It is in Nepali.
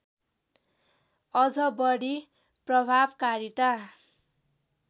अझ बढी प्रभावकारिता